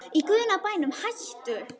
Í guðanna bænum hættu